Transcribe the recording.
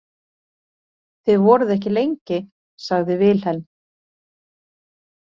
Þið voruð ekki lengi, sagði Vilhelm.